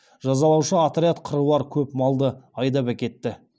жазалаушы отряд қыруар көп малды айдап әкетті